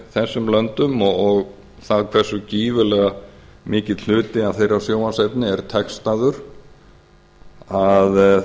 þessum löndum og það hversu gífurlega mikill hluti af þeirra sjónvarpsefni er textaður að